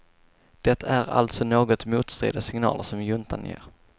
Det är alltså något motstridiga signaler som juntan ger.